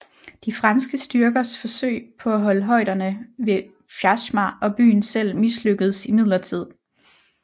De franske styrkers forsøg på at holde højderne ved Vjazma og byen selv mislykkedes imidlertid